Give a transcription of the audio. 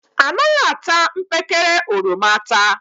Anaghị ata mkpekele oroma ata